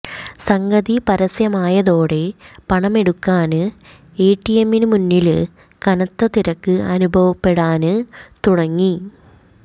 സംഗതി പരസ്യമായതോടെ പണമെടുക്കാന് എടിഎമ്മിനു മുന്നില് കനത്ത തിരക്ക് അനുഭവപ്പെടാന് തുടങ്ങി